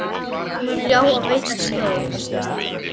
mun ljá og veita skjól.